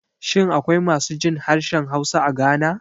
Shin akwai masu jin harshen Hausa a Ghana?